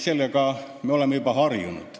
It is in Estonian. Sellega me oleme juba harjunud.